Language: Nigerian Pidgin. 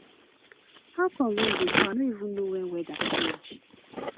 how come rain dey fall i no even know when weather change